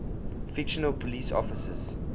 fictional police officers